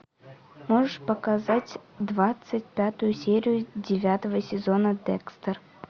можешь показать двадцать пятую серию девятого сезона декстер